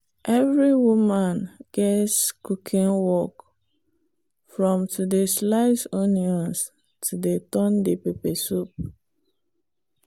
every woman gets cooking work from to dey slice onions to dey turn the pepper soup.